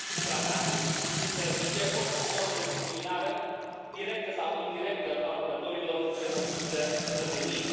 Tratatul interzice orice formă de discriminare, directă sau indirectă, a lucrătorilor, pe motiv de cetățenie.